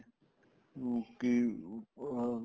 ਉਹ ਕੀ ਅਹ